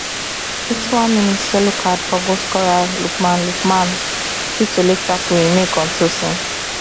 fifty one mins yellow card for goalscorer lookman lookman due to late tackle im make on tosin